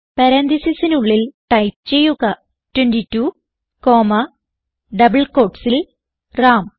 പരാൻതീസിസിനുള്ളിൽ ടൈപ്പ് ചെയ്യുക 22 comma double quotesൽ റാം